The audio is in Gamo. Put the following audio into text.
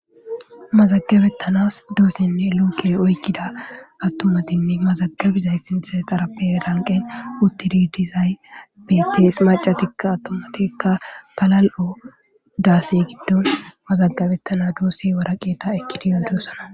Azagabetanas dosenne Luke oykida atumatinne mazagabizaysi sinthe xaraphe lanqen utidi dizay betes, mac'atika atumatika galal'o dase gidon mazagabetana dose waraqata ekid yidosona.